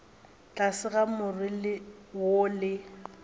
tlase ga more wo le